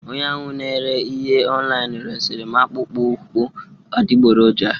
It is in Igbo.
Onye ahụ n'ere ihe ọlinu resiri m akpụkpọ ụkwụ adigboroja